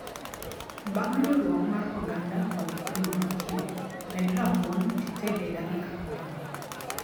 Bang' riurwok mar oganda kod oduma chiek, med rabuon tited e dakika apar